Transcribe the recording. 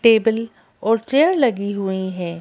Table और chair लगी हुई हैं।